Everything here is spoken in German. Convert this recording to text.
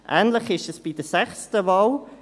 Ähnlich ist es bei der sechsten Wahl: